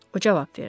O cavab verdi.